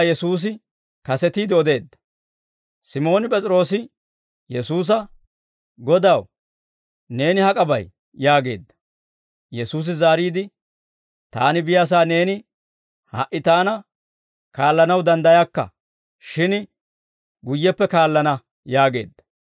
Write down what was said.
Simooni P'es'iroose Yesuusa, «Godaw, neeni hak'a bay?» yaageedda. Yesuusi zaariide, «Taani biyaasaa neeni ha"i Taana kaallanaw danddayakka; shin guyyeppe kaallana» yaageedda.